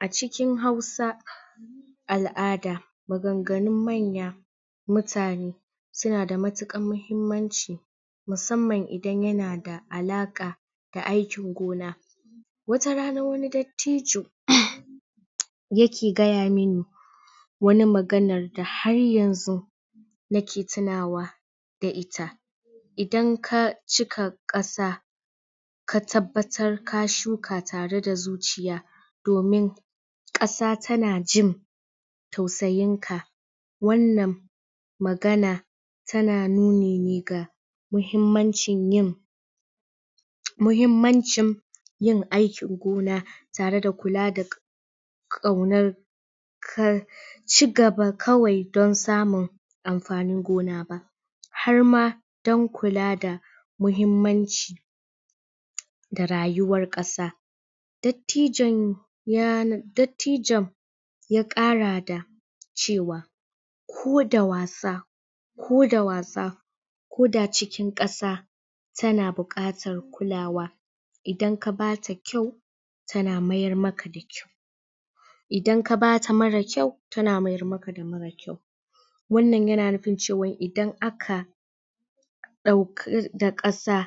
A cikin hausa, al'ada maganganun manya, mutane suna da matukan muhimmanci musamman idan yana da alaka ga aikin gona wata rana wani dattijo yake gaya mene wani magana da har yanzu nake tunawa da ita idan ka cika kasa, ka tabbatar ka shuka tare da zuciya domin kasa tana jin tausayin ka wannan magana tana muhimmancin yin muhimmancin yin aikin gona tare da kula da kaunar cigaba kawai don samun amfanin gona ba harma don kula da muhimmanci da rayuwar kasa Dadtijon ya, dadtijon, ya kara da cewa ko da wasa ko da wasa ko da cikin kasa, tana bukatar kulawa idan ka bata kyau tana miyar maka da kyau idan ka bata marar kyau, tana miyar maka da marar kyau wannan yana nufin cewa idan aka dauki da kasa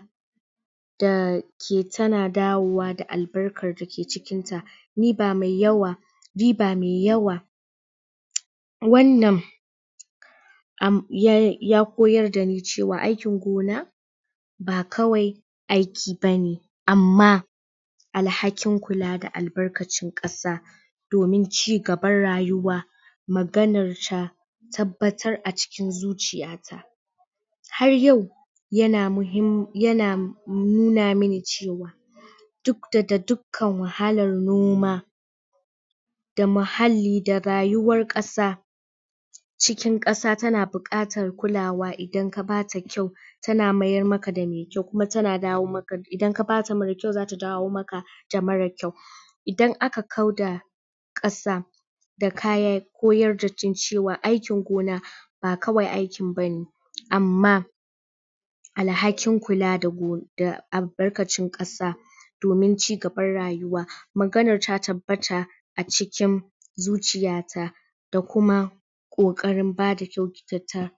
da ke tana dawowa da albarkan dake cikin ta ni ba me yawa ni ba mai yawa wannan ya koyar da ni cewa wa aikin gona, ba kawai aiki bane amma, alhakin kula da albarkacin kasa domin cigabar rayuwa maganar ta tabbatar a cikin zuciya ta har yau yana muhim, yana numa mene cewa duk daga dukan wahallar noma da muhalli da rayuwar kasa cikin kasa tana bukatar da kulawa idan ka bata kyau tana meyar maka da me kyau kuma tana dawo ma, idan ka bata marar kyau zata dawo maka da marar kyau Idan aka kau da kasa da kaya ko aikin gona ba kawai aikin bane amma alhakin kula da go, albarkacin kasa domin cigabar rayuwa, maganan ta tabbata a cikin zuciya ta da kuma kokarin bada kyaukikyata